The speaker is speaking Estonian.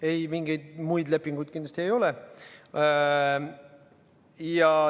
Ei, mingeid muid lepinguid kindlasti ei ole.